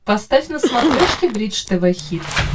поставь на смотрешке бридж тв хитс